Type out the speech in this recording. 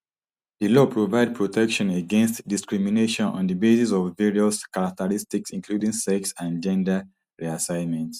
di law provide protection against discrimination on di basis of various characteristics including sex and gender reassignment